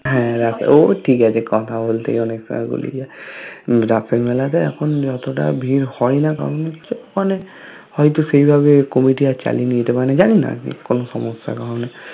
হ্যা রাসের ও ঠিক আছে কথা বোলতে গিয়ে অনেক সময় বোলে যায় । রাসের মেলা তে এখন অটো টা ভিড় হয়না কারণ হচ্ছে মানে হয়তো সেই ভাবে committee আর চালিয়ে নিতে মানে যানি না আমি কোন সমস্যার কারণে